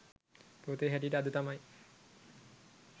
පොතේ හැටියට අද තමයි